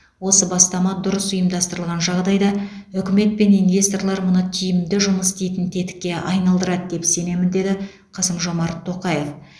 осы бастама дұрыс ұйымдастырылған жағдайда үкімет пен инвесторлар мұны тиімді жұмыс істейтін тетікке айналдырады деп сенемін деді қасым жомарт тоқаев